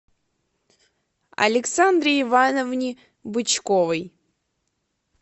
александре ивановне бычковой